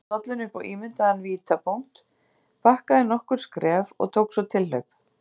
Stillti dollunni upp á ímyndaðan vítapunkt, bakkaði nokkur skref og tók svo tilhlaup.